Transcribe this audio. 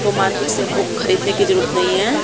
को मार्केट से बुक खरीदने की जरूरत नहीं है।